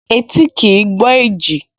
Etí kìí gbọ́ èjì